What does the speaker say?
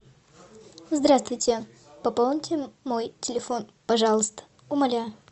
здравствуйте пополните мой телефон пожалуйста умоляю